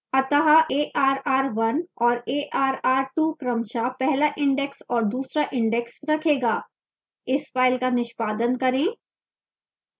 अतः arr 1 और arr 2 क्रमशः पहला index और दूसरा index रखेगा इस फाइल का निष्पादन करें